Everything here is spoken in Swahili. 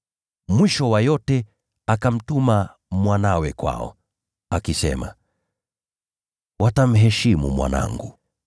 Mwisho wa yote, akamtuma mwanawe kwao, akisema, ‘Watamheshimu mwanangu.’